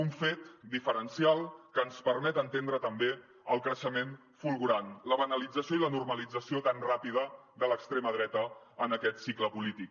un fet diferencial que ens permet entendre també el creixement fulgurant la banalització i la normalització tan ràpida de l’extrema dreta en aquest cicle polític